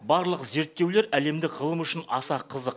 барлық зерттеулер әлемдік ғылым үшін аса қызық